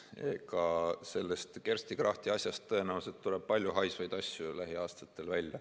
Eks sellest Kersti Krachti asjast tuleb tõenäoliselt palju haisvaid asju lähiaastatel välja.